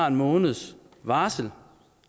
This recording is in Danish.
en måneds varsel